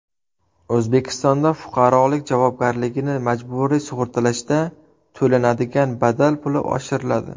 O‘zbekistonda fuqarolik javobgarligini majburiy sug‘urtalashda to‘lanadigan badal puli oshiriladi.